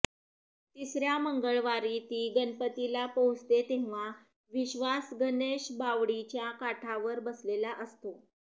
तिसऱ्या मंगळवारी ती गणपतीला पोहचते तेव्हा विश्वास गणेशबावडीच्या काठावर बसलेला असतो